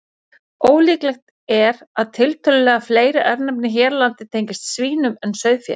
Ólíklegt er að tiltölulega fleiri örnefni hér á landi tengist svínum en sauðfé.